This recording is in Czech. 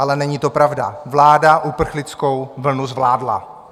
Ale není to pravda, vláda uprchlickou vlnu zvládla.